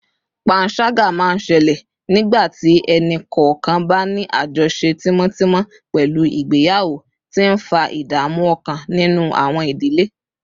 panṣaga máa ń ṣẹlẹ̀ nígbà tí ẹnì kọ̀ọ̀kan bá ní àjọṣe tímọ́tímọ́ pẹ̀lú ìgbéyàwó, tí ń fa ìdààmú ọkàn nínú àwọn ìdílé